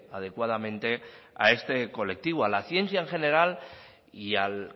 adecuadamente a este colectivo a la ciencia en general y al